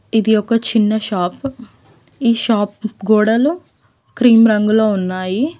ఇది ఒక చిన్న షాప్ ఈ షాప్ గోడలు క్రీమ్ రంగులో ఉన్నాయి.